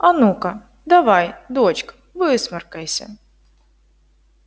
а ну-ка давай дочка высморкайся